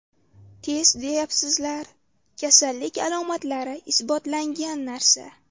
Test deyapsizlar, kasallik alomatlari isbotlangan narsa.